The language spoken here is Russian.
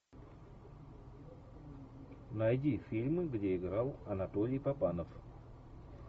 найди фильмы где играл анатолий папанов